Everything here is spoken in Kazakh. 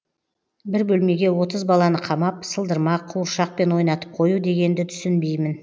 бір бөлмеге отыз баланы қамап сылдырмақ қуыршақпен ойнатып қою дегенді түсінбеймін